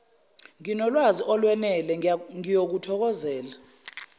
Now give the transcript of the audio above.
nginolwazi olwenele ngiyokuthokozela